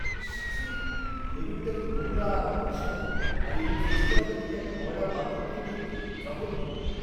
ইস, ছিঃ! টেবিলটা কি নোংরা আর অপরিষ্কার, আর এই রেস্তোরাঁটাকেই একটা ময়লার বালতির মতো দেখতে। জঘন্য!